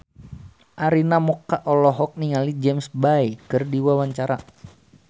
Arina Mocca olohok ningali James Bay keur diwawancara